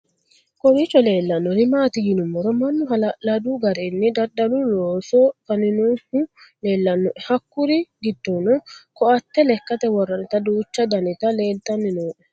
kowiicho leellannori maati yinummoro mannu hala'ladu garinni dadalu looso faninohu leellannoe hakkuri giddonnino koatte lekkate worranniti duuchu daniti leeltanni nooe